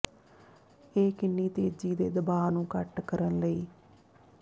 ਇਹ ਕਿੰਨੀ ਤੇਜ਼ੀ ਦੇ ਦਬਾਅ ਨੂੰ ਘੱਟ ਕਰਨ ਲਈ